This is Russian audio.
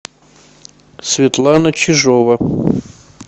светлана чижова